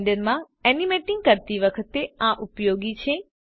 Blender માં animating કરતી વખતે આ ઉપયોગી છે